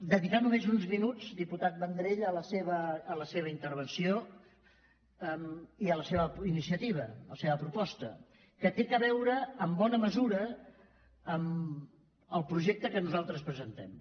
dedicar només uns minuts diputat vendrell a la seva intervenció i a la seva iniciativa la seva proposta que té a veure en bona mesura amb el projecte que nosaltres presentem